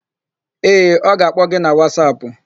Ee, ọ ga-akpọ gi na Wasapụ.